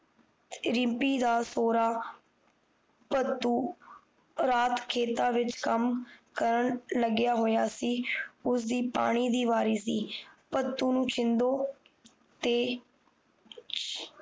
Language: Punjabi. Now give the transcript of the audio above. ਰਿਮਪੀ ਦਾ ਸੋਹਰਾ ਭਤੁ ਰਾਤ ਖੇਤਾਂ ਵਿੱਚ ਕੰਮ ਕਰਨ ਲਗਿਆ ਹੋਇਆ ਸੀ ਉਸ ਦੀ ਪਾਣੀ ਦੀ ਵਾਰੀ ਸੀ ਭਤੁ ਨੂੰ ਸ਼ਿੰਦੋ ਤੇ